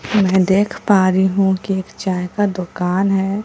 मैं देख पा रही हूं कि एक चाय का दुकान है।